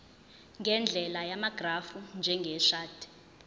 ngendlela yamagrafu njengeshadi